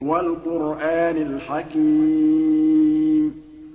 وَالْقُرْآنِ الْحَكِيمِ